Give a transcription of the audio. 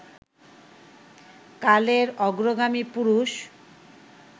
কালের অগ্রগামী পুরুষ